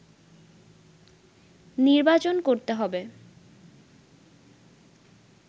নির্বাচন করতে হবে”